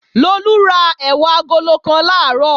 Lolú ra ẹ̀wà agolo kan làárọ̀